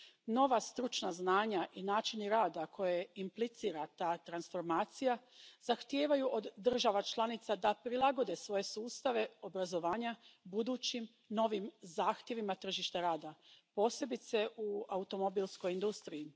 Nova stručna znanja i načini rada koje implicira ta transformacija zahtijevaju od država članica da prilagode svoje sustave obrazovanja budućim, novim zahtjevima tržišta rada, posebice u automobilskoj industriji.